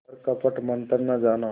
पर कपट मन्त्र न जाना